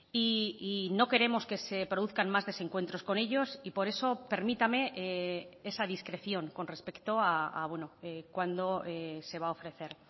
y no queremos que se produzcan más desencuentros con ellos y por eso permítame esa discreción con respecto a cuándo se va a ofrecer